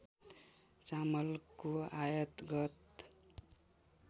चामलको आयात गत